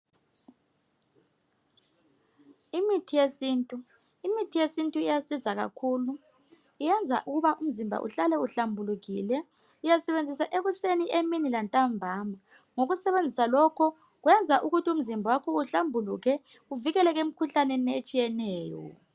Imithi yesintu imithi yesintu iyasiza khakhulu iyenza ukuba umzimba uhlale uhlambulukile uyasebenzisa ekuseni emini lantambama ngokusebenzisa lokho kwenza ukuthi umzimba wakho uhlambuluke uvikeleke emkhuhlaneni etshiyeneyo